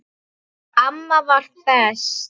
Amma var best.